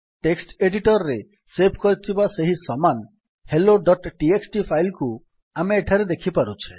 text editor ରେ save କରିଥିବା ସେହି ସମାନ helloଟିଏକ୍ସଟି ଫାଇଲ୍ କୁ ଆମେ ଏଠାରେ ଦେଖିପାରୁଛେ